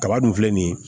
Kaba dun filɛ nin ye